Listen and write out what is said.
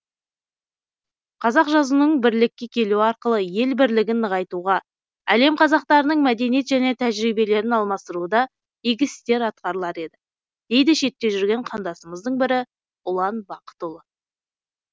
қазақ жазуының бірлікке келуі арқылы ел бірлігін нығайтуға әлем қазақтарының мәдениет және тәжірибелерін алмастыруда игі істер атқарылар еді дейді шетте жүрген қандасымыздың бірі ұлан бақытұлы